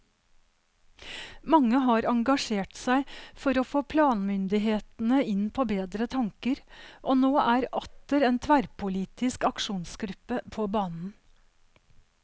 Mange har engasjert seg for å få planmyndighetene inn på bedre tanker, og nå er atter en tverrpolitisk aksjonsgruppe på banen.